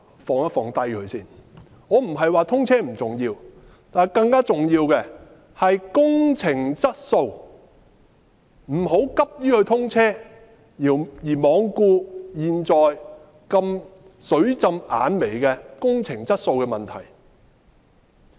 我不是說通車不重要，但更重要的是工程質素，不要急於通車而罔顧現時工程質素"水浸眼眉"的問題。